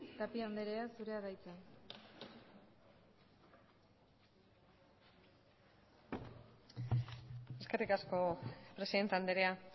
tapia andrea zurea da hitza eskerrik asko presidente andrea